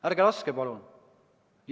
Ärge laske, palun!